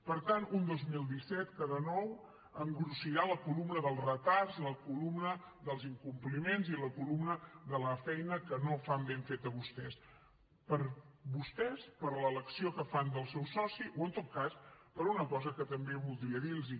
per tant un dos mil disset que de nou engrossirà la columna dels retards la columna dels incompliments i la columna de la feina que no fan ben feta vostès per vostès per l’elecció que fan del seu soci o en tot cas per una cosa que també voldria dir los